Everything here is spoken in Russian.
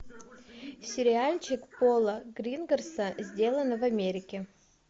сериальчик пола гринграсса сдлано в америке